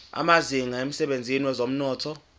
amazinga emsebenzini wezomnotho